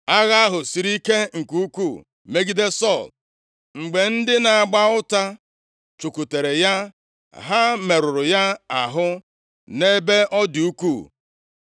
Agha ahụ siri ike nke ukwuu megide Sọl, mgbe ndị na-agba ụta chụkwutere ya ha merụrụ ya ahụ nʼebe ọ dị ukwuu.